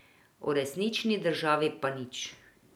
O resnični državi pa nič.